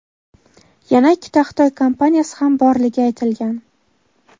yana ikkita Xitoy kompaniyasi ham borligi aytilgan.